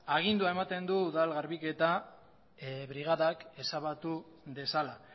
agindua ematen du udal garbiketa brigadak ezabatu dezala